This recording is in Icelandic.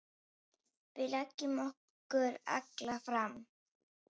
Við leggjum okkur alla fram.